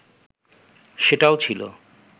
সেটাও ছিল